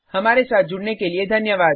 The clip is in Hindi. हमारे साथ जुड़ने के लिये धन्यवाद